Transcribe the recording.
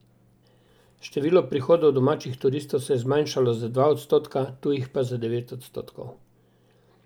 Število prihodov domačih turistov se je zmanjšalo za dva odstotka, tujih pa za devet odstotkov.